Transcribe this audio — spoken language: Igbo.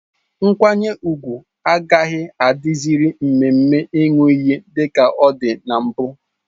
Nkwanye ùgwù agaghị adị ziri mmemme Ịṅụ iyi dika ọ dị na mbụ